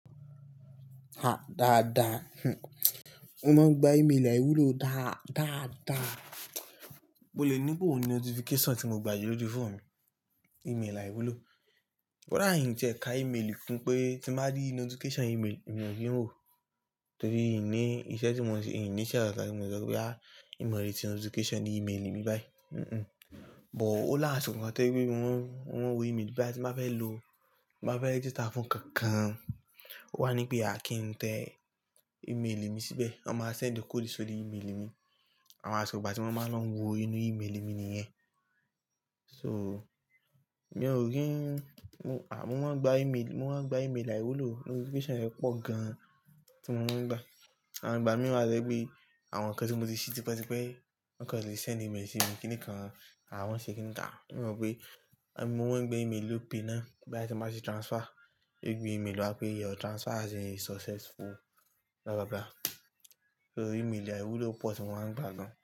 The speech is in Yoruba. A dáadáa. Mo máa ń gba email àìwúlò dáadáa. Mo lè ní bóò ní notification tí mo gbà yi lójú foonu mi, email àìwúlò. Koda in tiẹ ka email kún pé tí mo bá rí notification email èmi ò kí ń wò ó. Torí í ní iṣẹ́ tí mò ń ṣe, ini isekánkan ti mo le sọ pé a, ìmọ̀ re ti notification email mi báyìí. Hmhmm, but ó lá rin kàn tó pé wọ́n, wọ́n wo email bí bá ti máa bá fẹ́ lo, bá fẹ́ register fún kankan. Ó wá ní pé a kì í tẹ email mi síbẹ̀. Wọ́n máa sendi code sórí email mi. Àwọn asiko igbà tí mo máa lọ ń wo inú email mi nìyẹn. So, mi ò kí ń Mo máa ń gba email, mo máa ń gba email àìwúlò. Notification rẹ̀ pọ̀ gan tí mo máa ń gbà. Àwọn ìgbà mìíràn rí pé àwọn nǹkan tí mo ti ṣe tipẹ́tipẹ́, nǹkan tí ṣe send email sí mi kíni kan, àwọn ṣe kín ni ká. Mi mọ̀ pé àbí mo máa ń gba email Opay náà bí bá ti máa ṣe transfer. Gbé email wá pé your transfer has been successful. Lọ́kọ́lọ́. So email àìwúlò pọ̀ tí mo máa ń gbà gan.